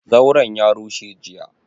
Zauran ya rushe jiya,